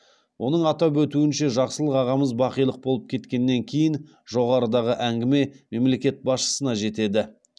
оның атап өтуінше жақсылық ағамыз бақилық болып кеткеннен кейін жоғарыдағы әңгіме мемлекет басшысына жетеді